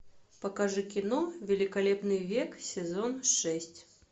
покажи кино великолепный век сезон шесть